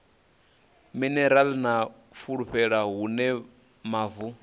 minerala na fulufulu hune mavu